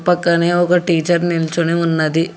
పక్కనే ఒక టీచర్ నిల్చొని ఉన్నది.